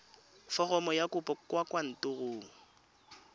foromo ya kopo kwa kantorong